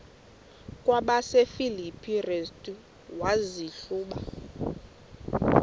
kwabasefilipi restu wazihluba